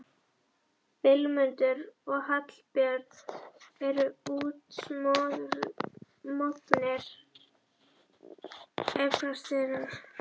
Vilmundur og Hallbjörn eru útsmognir esperantistar